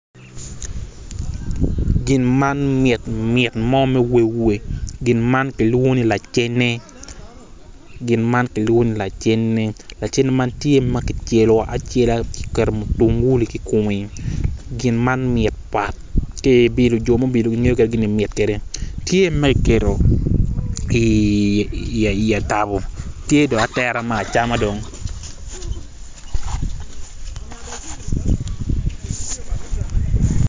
Gin man mit mit mo gin man kilwongo ni lacene lacene man tye ma kicelo acela kiketo mutungulu I kome .